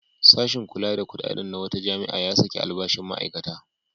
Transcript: Sashin kula da kuɗaɗen na wata jami'a ya saki albashin ma'aikata.